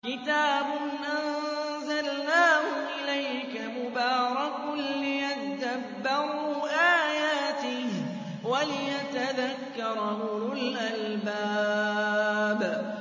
كِتَابٌ أَنزَلْنَاهُ إِلَيْكَ مُبَارَكٌ لِّيَدَّبَّرُوا آيَاتِهِ وَلِيَتَذَكَّرَ أُولُو الْأَلْبَابِ